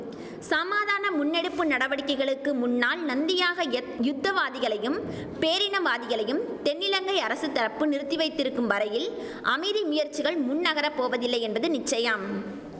சமாதான முன்னெடுப்பு நடவடிக்கைகளுக்கு முன்னால் நந்தியாக யுத்தவாதிகளையும் பேரினவாதிகளையும் தென்னிலங்கை அரசு தரப்பு நிறுத்தி வைத்திருக்கும் வரையில் அமைதி முயற்சிகள் முன்நகர போவதில்லை என்பது நிச்சயம்